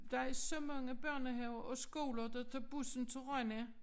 Der er så mange børnehaver og skoler der tager bussen til Rønne